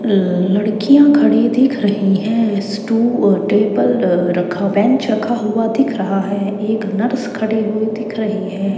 अह लड़कियां खड़ी दिख रही हैं स्टू अह टेबल रखा बेंच रखा हुआ दिख रहा है एक नर्स खड़ी हुई दिख रही है।